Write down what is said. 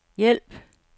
hjælp